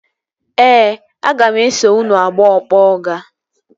Ee, aga m eso unu abụọ kpọọ ọga